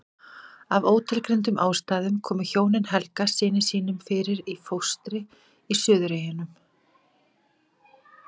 Af ótilgreindum ástæðum komu hjónin Helga syni sínum fyrir í fóstri í Suðureyjum.